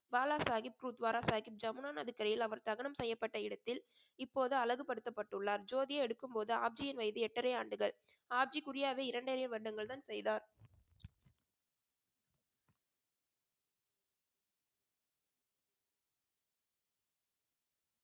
பாலா சாஹிப், குருத்வாரா சாஹிப் ஜமுனா நதிக்கரையில் அவர் தகனம் செய்யப்பட்ட இடத்தில் இப்போது அழகுபடுத்தப்பட்டுள்ளார் ஜோதியை எடுக்கும்போது ஆப்ஜியின் வயது எட்டரை ஆண்டுகள் ஆப்ஜி குரியாவை இரண்டரை வருடங்கள்தான் செய்தார்